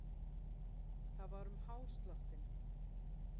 Það var um hásláttinn.